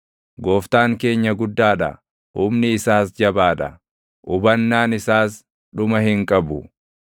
Gooftaan keenya guddaa dha; humni isaas jabaa dha; hubannaan isaas dhuma hin qabu.